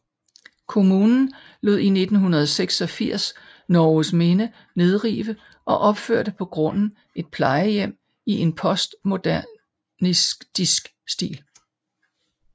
Kommunen lod i 1986 Norgesminde nedrive og opførte på grunden et plejehjem i en postmodernistisk stil